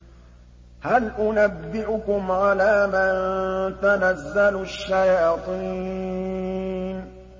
هَلْ أُنَبِّئُكُمْ عَلَىٰ مَن تَنَزَّلُ الشَّيَاطِينُ